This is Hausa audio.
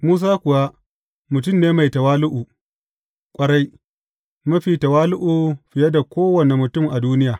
Musa kuwa mutum ne mai tawali’u ƙwarai, mafi tawali’u fiye da kowane mutum a duniya.